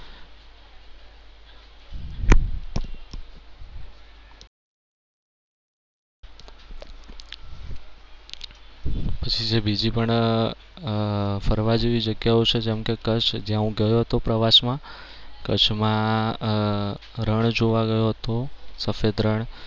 પછી છે બીજી પણ અમ અમ ફરવા જેવી જગ્યાઓ છે જેમ કે કચ્છ જ્યાં હું ગયો હતો પ્રવાસમાં. કચ્છમાં અમ રણ જોવા ગયો હતો, સફેદ રણ.